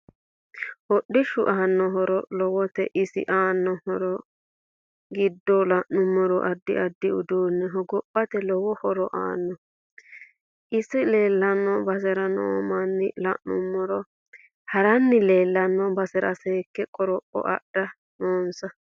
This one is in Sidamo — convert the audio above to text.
HOdhoshu anno horo lowote isi aanno horo giddo la'anumoro addi addi uduune hogophate lowo horo aanno ise leelanno basera noo manna lanumoro harinni leelano basera seeke qoropho addha noonsa